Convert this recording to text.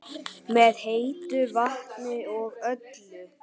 Með heitu vatni og öllu?